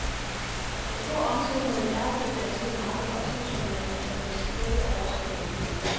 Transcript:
Hvor stor omsætningen er på det danske marked, oplyser man af principielle årsager ikke.